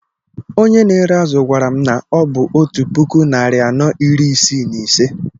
Onye na ere azụ gwara m na ọ bụ otú puku, narị anọ iri isii na ise